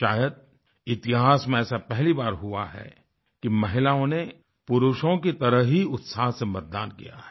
शायदइतिहास में ऐसा पहली बार हुआ है कि महिलाओं ने पुरुषों की तरह ही उत्साह से मतदान किया है